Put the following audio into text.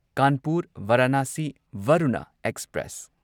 Kanpur Varanasi Varuna express